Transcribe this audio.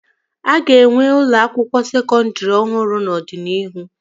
A ga-enwe ụlọ akwụkwọ sekọndri ọhụrụ n'ọdịnihu